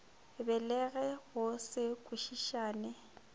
be le go se kwešišane